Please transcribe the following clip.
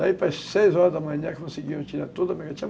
Daí para as seis horas da manhã conseguiam tirar toda a